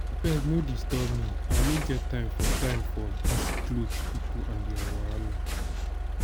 abeg no disturb me i no get time for time for dis cloth people and their wahala.